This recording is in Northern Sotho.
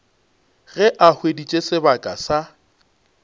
ge a hweditše sebaka sa